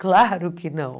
Claro que não.